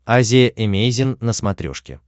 азия эмейзин на смотрешке